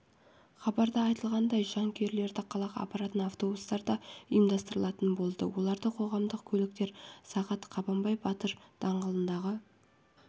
хабарда айтылғаандай жанкүйерлерді қалаға апаратын автобустар да ұйымдастырылатын болады оларды қоғамдық көліктер сағат қабанбай батыр даңғылындағы